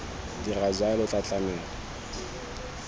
dira jalo o tla tlamela